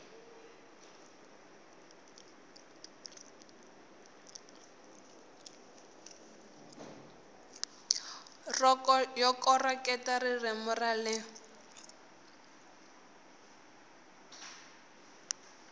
yo koreketa ririmi ra le